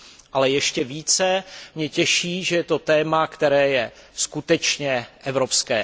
Ale ještě více mě těší, že je to téma, které je skutečně evropské.